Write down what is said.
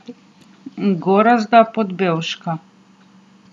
Gorazda Podbevška.